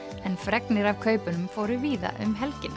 en fregnir af kaupunum fóru víða um helgina